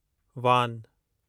वान